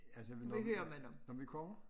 Altså vi må når vi kommer?